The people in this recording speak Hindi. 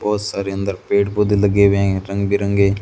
बहोत सारे अंदर पेड़ पौधे लगे हुए है रंग बिरंगे--